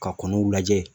Ka kɔnɔw lajɛ